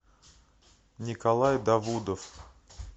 николай давудов